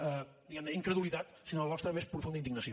diguem ne incredulitat sinó la nostra més profunda indignació